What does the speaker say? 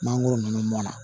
Mangoro ninnu na